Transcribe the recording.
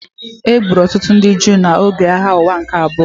E gburu ọtụtụ ndị Juu n’oge Agha Ụwa nke Abụọ.